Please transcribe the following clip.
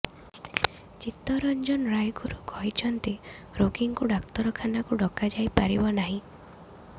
ଚିତ୍ତରଂଜନ ରାୟଗୁରୁ କହିଛନ୍ତି ରୋଗୀଙ୍କୁ ଡାକ୍ତରଖାନାକୁ ଡକାଯାଇ ପାରିବ ନାହିଁ